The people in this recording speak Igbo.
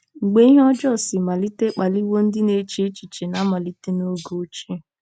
MGBE ihe ọjọọ si malite akpaliwo ndị na-eche echiche na malite n'oge ochie.